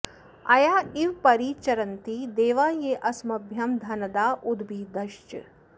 अया इव परि चरन्ति देवा ये अस्मभ्यं धनदा उद्भिदश्च